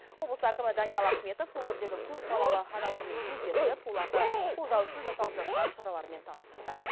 облыс әкімі даниал ахметов өңірдегі көпбалалы аналармен кездесіп оларды қолдау үшін жасалып жатқан шаралармен таныстырды